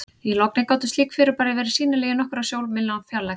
Í logni gátu slík fyrirbæri verið sýnileg úr nokkurra sjómílna fjarlægð.